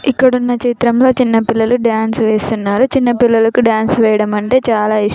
ఇక్కడ వున్న చిత్రంలో చిన్న పిల్లలు డాన్స్ వేస్తున్నారు చిన్నపిల్లలకు వెయ్యడం అంటే చాల --